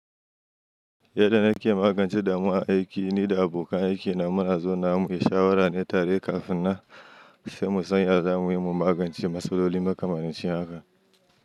Yanda nake magance damuwa a aiki, ni da abokan aikina muna zaunawa mu yi shawara ne tare kafin nan sai mu san ya za mu yi mu magance matsaloli mai kamar makamancin haka.